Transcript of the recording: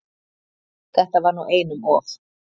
Þetta var nú einum of!